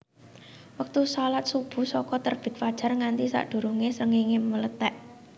Wektu shalat Subuh saka terbit fajar nganti sadurungé srengéngé mlethèk